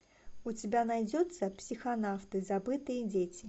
у тебя найдется психонавты забытые дети